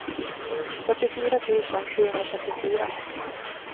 fyrtiofyra tusen sjuhundrafyrtiofyra